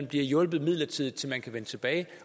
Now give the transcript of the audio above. bliver hjulpet midlertidigt til man kan vende tilbage